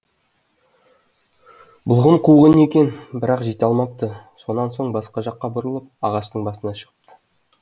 бұлғын қуған екен бірақ жете алмапты сонан соң басқа жаққа бұрылып ағаштың басына шығыпты